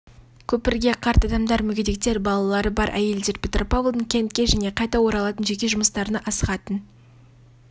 көпірге қарт адамдар мүгедектер балалары бар әйелдер петропавлдан кентке және қайта оралатын жеке жұмыстарына асығатын